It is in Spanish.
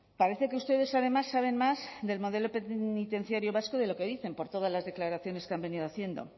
parece que ustedes además saben más del modelo penitenciario vasco de lo que dicen por todas las declaraciones que han venido haciendo